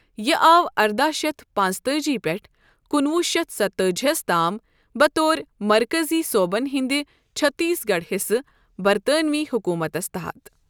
یہِ آو ارداہ شیتھ پانٛژتٲجی پٮ۪ٹھ کُنہٕ وُہ شیتھ ستتٲجی ہس تام بطور مرکزی صوبن ہندِ چٕھتیٖس گَڑھ حِصَہٕ ، بَرطٲنوی حُکوٗمتَس تَحَت ۔